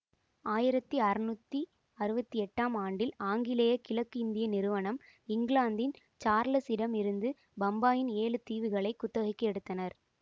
ஆயிரத்தி அறுநூற்றி அறுபத்தி எட்டாம் ஆண்டில் ஆங்கிலேய கிழக்கு இந்திய நிறுவனம் இங்கிலாந்தின் சார்லஸ் இடம் இருந்து பம்பாயின் ஏழு தீவுகளை குத்தகைக்கு எடுத்தனர்